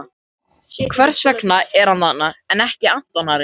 Hvers vegna er hann þarna en ekki Anton Ari?